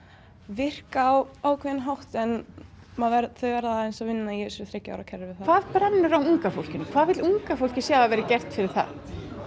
virka á ákveðinn hátt en þau verða aðeins að vinna í þessu þriggja ára kerfi hvað brennur á unga fólkinu hvað vill unga fólkið sjá að verði gert fyrir það